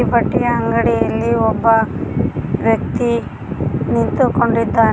ಬಟ್ಟೆಯ ಅಂಗಡಿಯಲ್ಲಿ ಒಬ್ಬ ವ್ಯಕ್ತಿ ನಿಂತುಕೊಂಡಿದ್ದಾನೆ.